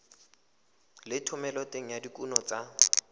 le thomeloteng ya dikuno tsa